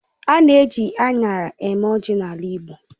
A na èji aṅara eme ọjị n'ala igbo.